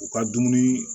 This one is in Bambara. U ka dumuni